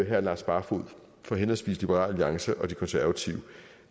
herre lars barfoed fra henholdsvis liberal alliance og de konservative